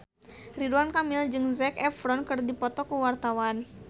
Ridwan Kamil jeung Zac Efron keur dipoto ku wartawan